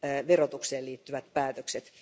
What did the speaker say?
verotukseen liittyvät päätökset?